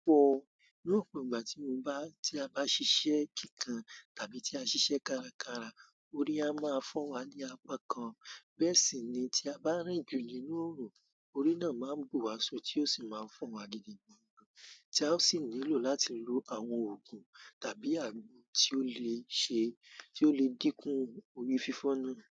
Pọ̀, ní ọ̀pọ̀ ìgbà tí mo bá, tí a bá ṣiṣẹ́ kíkan tàbí tí a ṣiṣẹ́ kárakára, orí a máa fọ́ wa ní apá kan. Bẹ́ sì ni tí a bá rìn jù ní inú òòrù, orí náà má n bu wa só tí ó sì máa fọ́ wa gidigan, tí a sì nílò láti lo àwọn òògùn tàbí àgbo tí ó le ṣe, tí ó le díkù orí fífọ́ náà.